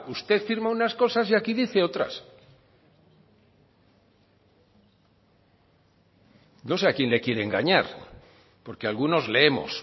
usted firma unas cosas y aquí dice otras no sé a quién le quiere engañar porque algunos leemos